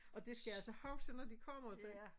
Og det skal jeg altså huske når de kommer